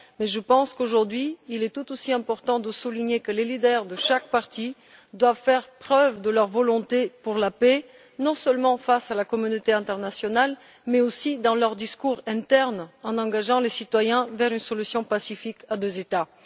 Mais je pense qu'aujourd'hui, il est tout aussi important de souligner que les leaders de chaque partie doivent faire preuve de leur volonté de paix, non seulement face à la communauté internationale, mais aussi dans leurs discours internes en engageant les citoyens vers une solution pacifique à deux États.